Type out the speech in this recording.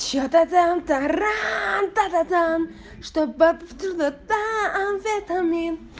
вчера тогда антара там чтобы абсолютно танзанитами